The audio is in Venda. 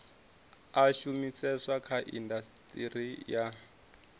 a shumiseswa kha indasiteri ya